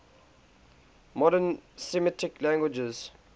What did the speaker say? modern semitic languages